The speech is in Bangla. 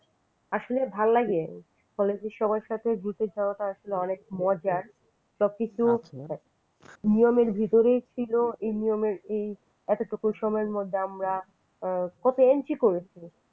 আসলে ভালো লাগে college র সব সবার সাথে ঘুরতে যাওয়াটা আসলে খুব মজার সবকিছু মনের ভিতরই ছিল এই নিয়মের এতোটুকু সময়ের মধ্যে আমরা কত entry করেছি।